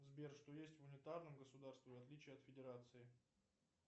сбер что есть в унитарном государстве в отличие от федерации